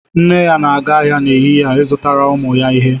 Nne ya na-aga ahịa n'ehihie, izụtara ụmụ ya ihe